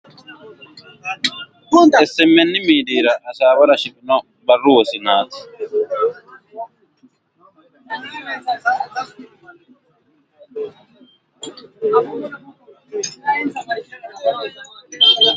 smn miidiira hasaawara shiqino barru wosinaati.